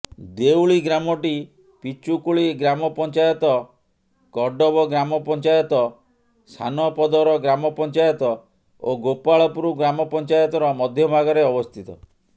ଦେଉଳି ଗ୍ରାମଟି ପିଚୁକୁଳି ଗ୍ରାମପଞ୍ଚାୟତ କଡ଼ବ ଗ୍ରାମପଞ୍ଚାୟତ ସାନପଦର ଗ୍ରାମପଞ୍ଚାୟତ ଓ ଗୋପାଳପୁର ଗ୍ରାମପଞ୍ଚାୟତର ମଧ୍ୟଭାଗରେ ଅବସ୍ଥିତ